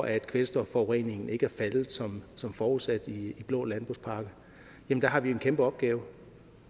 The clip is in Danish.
at kvælstofforureningen ikke er faldet som forudsat i blå landbrugspakke har vi en kæmpe opgave